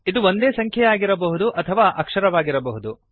ಇದು ಒಂದೇ ಸಂಖ್ಯೆಯಾಗಿರಬಹುದು ಅಥವಾ ಅಕ್ಷರವಾಗಿರಬಹುದು